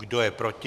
Kdo je proti?